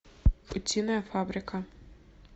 утиная фабрика